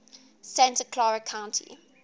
santa clara county